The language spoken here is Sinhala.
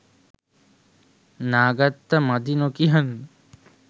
නා ගත්ත මදි නොකියන්න.